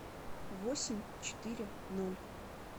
восемь четыре ноль